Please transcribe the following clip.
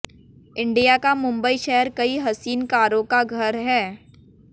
India का मुंबई शहर कई हसीन कारों का घर है